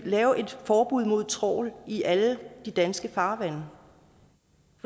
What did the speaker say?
lave et forbud mod trawl i alle danske farvande for